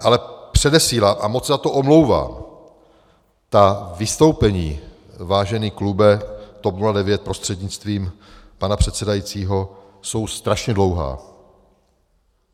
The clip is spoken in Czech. Ale předesílám, a moc se za to omlouvám, ta vystoupení, vážený klube TOP 09 prostřednictvím pana předsedajícího, jsou strašně dlouhá.